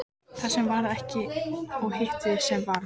Það sem varð ekki og hitt sem varð